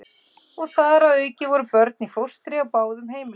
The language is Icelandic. Og þar að auki voru börn í fóstri á báðum heimilunum.